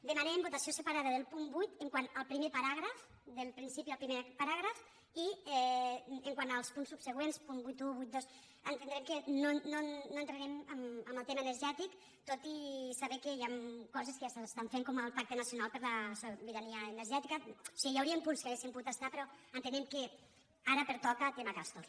demanem votació separada del punt vuit no entraré al solc quant al primer paràgraf del principi al primer paràgraf i quant als punts subsegüents punt vuitanta un vuitanta dos entendrem que no entrarem en el tema ener·gètic tot i saber que hi ha coses que ja s’estan fent com el pacte nacional per la sobirania energètica o sigui hi hauria punts que haurien pogut estar però en·tenem que ara pertoca el tema castor